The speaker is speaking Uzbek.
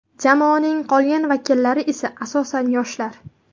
Jamoaning qolgan vakillari esa asosan yoshlar.